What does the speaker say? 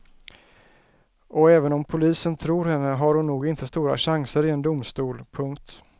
Och även om polisen tror henne har hon nog inte stora chanser i en domstol. punkt